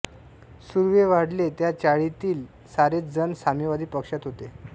सुर्वे वाढले त्या चाळीतील सारेच जण साम्यवादी पक्षात होते